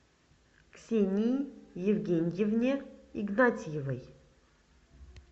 ксении евгеньевне игнатьевой